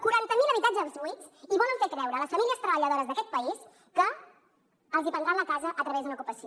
quaranta mil habitatges buits i volen fer creure a les famílies treballadores d’aquest país que els prendran la casa a través d’una ocupació